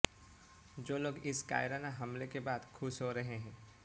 जो लोग इस कायराना हमले के बाद खुश हो रहें हैं